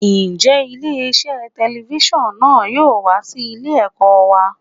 Ǹjẹ́ ilé iṣẹ́ telifíṣàn náà yóò wá sí ilé ẹ̀kọ́ wa?